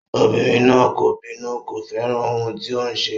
Obìnrin náà kò bínú, kò fẹ́ràn ohun tí o ṣe.